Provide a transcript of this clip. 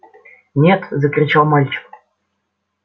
нет закричал мальчик